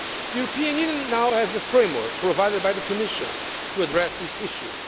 The European Union now has a framework, provided by the Commission, to address this issue.